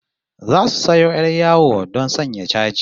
Zasu sayo 'yar yawo don sanya chaji